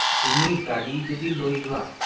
তুমি গাড়ী যদি লৈ যোৱা